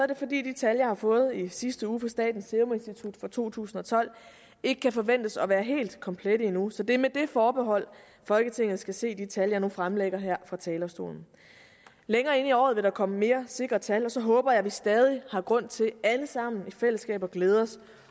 det fordi de tal jeg har fået i sidste uge fra statens serum institut for to tusind og tolv ikke kan forventes at være helt komplette endnu så det er med det forbehold folketinget skal se de tal jeg nu fremlægger her fra talerstolen længere inde i året vil der komme mere sikre tal og så håber jeg at vi stadig har grund til alle sammen i fællesskab at glæde os